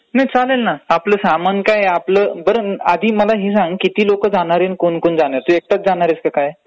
नाही चालेल ना, आपलं सामान काय....बरं आधी मला हे सांग किती लोकं जाणारेत कोण कोण जाणारेत, तू एकटाचं जाणारेस क काय...